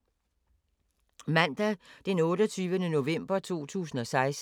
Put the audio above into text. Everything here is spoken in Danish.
Mandag d. 28. november 2016